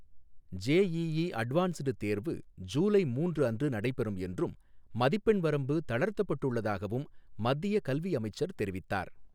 JEE advanced தேர்வு ஜூலை மூன்று அன்று நடைபெறும் என்றும், மதிப்பெண் வரம்பு தளர்த்தப்பட்டுள்ளதாகவும் மத்திய கல்வி அமைச்சர் தெரிவித்தார்